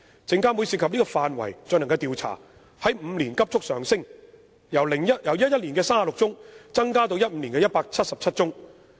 證監會涉及這個範圍進行的調查數目在過去5年急速上升，由2011年的36宗增至2015年的177宗。